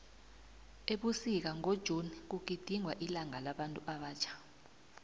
ebusika ngo june kugidingwa ilanga labantu abatjha